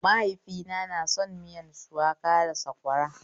Maihaifina son miyar shuwaka da sakwara